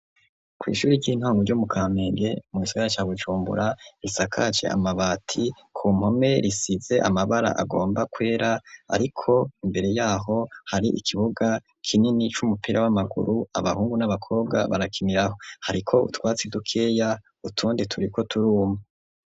Kwishuri ry'intango ryo mu Kamenge mugisara ca Bujumbura risakaje amabati ku mpome risize amabara agomba kwera. Ariko imbere yaho hari ikibuga kinini c'umupira w'amaguru abahungu n'abakobwa barakiniraho. Hariko utwatsi dukeya utundi turi ko turuma.